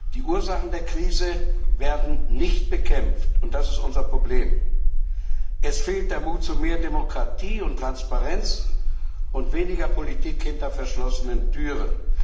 Die Ursachen der Krise werden nicht bekämpft. Das ist unser Problem. Es fehlt der Mut zu mehr Demokratie und Transparenz und zu weniger Politik hinter verschlossenen Türen.